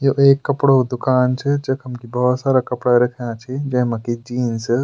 यु एक कपड़ो क दुकान च जखम की भौत सारा कपड़ा रख्यां छि जैमा की जीन्स ।